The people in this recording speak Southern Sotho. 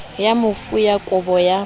ya mofu ya kabo ya